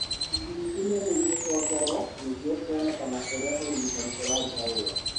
Ithimi imwe nĩ igũcokerũo nĩguo kũonekane ũrĩa ũrigitani ũraruta wĩra.